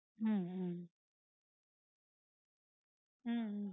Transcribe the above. உம் உம் ஹம்